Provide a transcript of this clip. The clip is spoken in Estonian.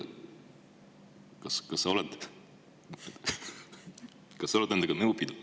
Kas sa oled nendega nõu pidanud?